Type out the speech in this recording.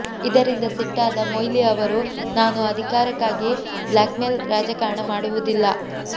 ಇದರಿಂದ ಸಿಟ್ಟಾದ ಮೊಯ್ಲಿ ಅವರು ನಾನು ಅಧಿಕಾರಕ್ಕಾಗಿ ಬ್ಲಾಕ್ಮೇಲ್ ರಾಜಕಾರಣ ಮಾಡುವುದಿಲ್ಲ